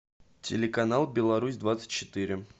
телеканал беларусь двадцать четыре